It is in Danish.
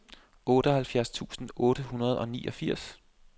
otteoghalvtreds tusind otte hundrede og niogfirs